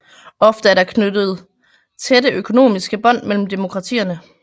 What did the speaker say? Ofte er der knyttet tætte økonomiske bånd mellem demokratierne